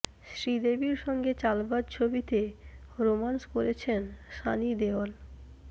শ্রীদেবীর সঙ্গে চালবাজ ছবিতে রোম্যান্স করেছেন সানি দেওল